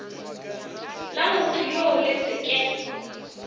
la mothoyoo le se ke